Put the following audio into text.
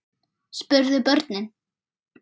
spurðu börnin.